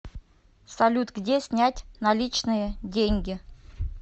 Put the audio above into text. салют где снять наличные деньги